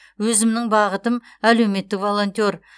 өзімнің бағытым әлеуметтік волонтер